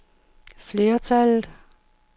flertallet